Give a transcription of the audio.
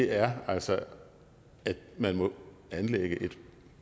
er altså at man må anlægge et